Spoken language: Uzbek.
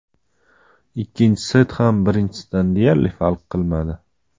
Ikkinchi set ham birinchisidan deyarli farq qilmadi.